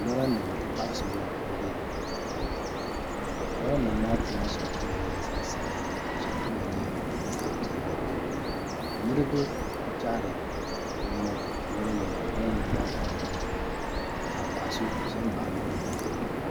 Lora nima n ti pahi salo n bɛ daa puuni lora nima maa puuni shɛli nyɛla zaɣ sabinli ka shʋli kama nyɛ zaɣ piɛlli niraba n kpihari niɛma loori nima maa puuni ka paɣaso ʒɛ baɣa loori maa